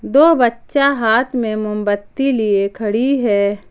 दो बच्चा हाथ में मोमबत्ती लिए खड़ी है।